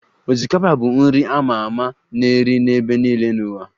Osikapa bụ nri a ma ama a na-eri n'ebe niile n'ụwa